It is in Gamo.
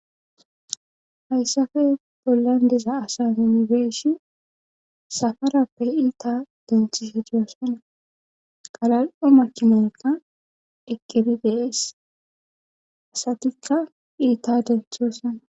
Hayssafe bollan diza asane mibeeshi safarappe iita denthishe diyosana qalal7o makinaota iqqiri deees asatikka iita denthoosana.